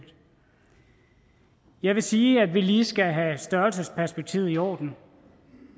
jeg vil sige at vi lige skal have størrelsesperspektivet i orden